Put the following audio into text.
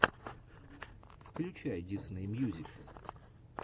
включай дисней мьюзик